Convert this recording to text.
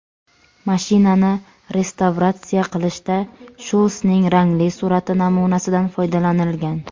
Mashinani restavratsiya qilishda Shulsning rangli surati namunasidan foydalanilgan.